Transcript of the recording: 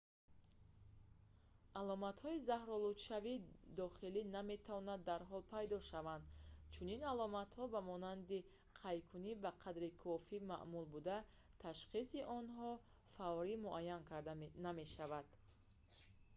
аломатҳои заҳролудшавии дохилӣ наметавонанд дарҳол пайдо шаванд чунин аломатҳо ба монанди қайкунӣ ба қадри кофӣ маъмул буда ташхиси онҳо фаврӣ муайян карда намешавад